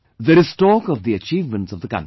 there is talk of the achievements of the country